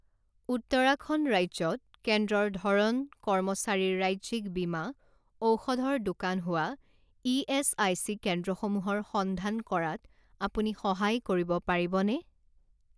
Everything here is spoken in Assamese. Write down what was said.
উত্তৰাখণ্ড ৰাজ্যত কেন্দ্ৰৰ ধৰণ কৰ্মচাৰীৰ ৰাজ্যিক বীমা ঔষধৰ দোকান হোৱা ইএচআইচি কেন্দ্ৰসমূহৰ সন্ধান কৰাত আপুনি সহায় কৰিব পাৰিবনে?